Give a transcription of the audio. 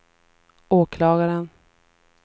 åklagaren